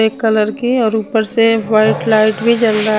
एक कलर के और ऊपर से व्हाइट लाइट भी जल रहा--